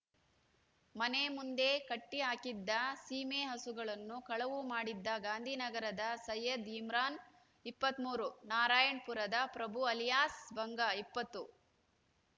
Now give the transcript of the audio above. ಮನೆ ಮುಂದೆ ಕಟ್ಟಿ ಹಾಕಿದ್ದ ಸೀಮೆ ಹಸುಗಳನ್ನು ಕಳವು ಮಾಡಿದ್ದ ಗಾಂಧಿ ನಗರದ ಸಯೈದ್ ಇಮ್ರಾನ್ ಇಪ್ಪತ್ತ್ ಮೂರು ನಾರಾಯಣ್ ಪುರದ ಪ್ರಭು ಅಲಿಯಾಸ್ ಭಂಗ ಇಪ್ಪತ್ತು